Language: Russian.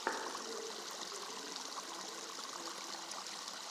первая серия алекса бойко